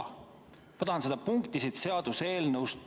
Ma tahan teada seda punkti siit seaduseelnõust.